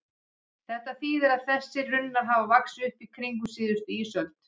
Þetta þýðir að þessir runnar hafa vaxið upp í kringum síðustu ísöld.